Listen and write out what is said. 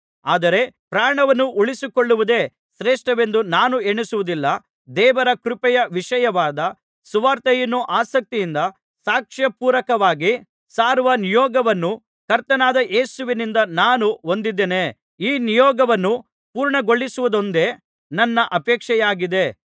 ಆದರೆ ಪ್ರಾಣವನ್ನು ಉಳಿಸಿಕೊಳ್ಳುವುದೇ ಶ್ರೇಷ್ಠವೆಂದು ನಾನು ಎಣಿಸುವುದಿಲ್ಲ ದೇವರ ಕೃಪೆಯ ವಿಷಯವಾದ ಸುವಾರ್ತೆಯನ್ನು ಆಸಕ್ತಿಯಿಂದ ಸಾಕ್ಷ್ಯಪೂರಕವಾಗಿ ಸಾರುವ ನಿಯೋಗವನ್ನು ಕರ್ತನಾದ ಯೇಸುವಿನಿಂದ ನಾನು ಹೊಂದಿದ್ದೇನೆ ಈ ನಿಯೋಗವನ್ನು ಪೂರ್ಣಗೊಳಿಸುವುದೊಂದೇ ನನ್ನ ಅಪೇಕ್ಷೆಯಾಗಿದೆ